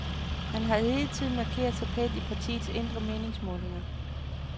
Han har hidtil markeret sig pænt i partiets interne meningsmålinger.